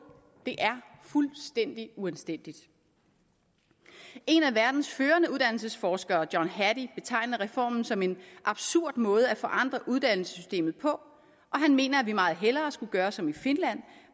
det er fuldstændig uanstændigt en af verdens førende uddannelsesforskere john hattie betegner reformen som en absurd måde at forandre uddannelsessystemet på og han mener at vi meget hellere skulle gøre som i finland